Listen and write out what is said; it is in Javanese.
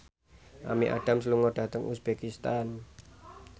Amy Adams lunga dhateng uzbekistan